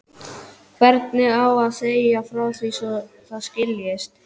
Hvernig á að segja frá því svo það skiljist?